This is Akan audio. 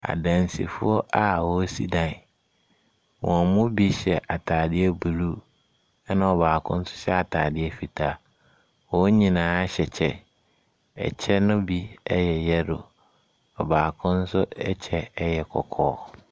Adansefoɔ a wɔresi dan, wɔn mu bi hyɛ ataadeɛ blue, ɛna ɔbaako nso hyɛ ataadeɛ fitaa. Wɔn nyinaa hyɛ kyɛ, ɛkyɛ no bi yɛ yellow. Ɔbaako ɛkyɛ nso yɛ kɔkɔɔ.